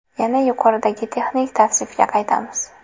Yana yuqoridagi texnik tavsifga qaytamiz.